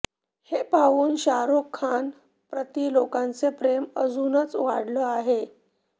हे पाहून शाहरुख खान प्रति लोकांचं प्रेम अजूनच वाढलं आहे